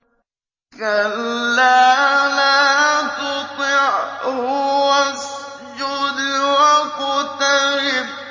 كَلَّا لَا تُطِعْهُ وَاسْجُدْ وَاقْتَرِب ۩